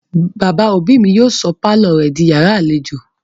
Bàbá òbí mi yóò sọ pálọ̀ rẹ̀ di yàrá-àlejò